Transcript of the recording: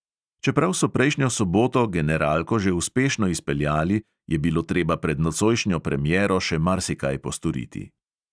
Čeprav so prejšnjo soboto generalko že uspešno izpeljali, je bilo treba pred nocojšnjo premiero še marsikaj postoriti.